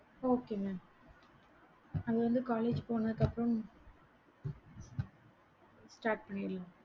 okay mam உங்களுக்கு எத start பண்ணிருங்க